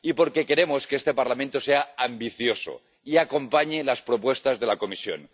Porque queremos que este Parlamento sea ambicioso y acompañe las propuestas de la Comisión.